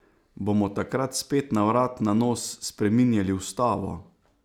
Bomo takrat spet na vrat na nos spreminjali ustavo?